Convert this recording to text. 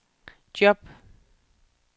job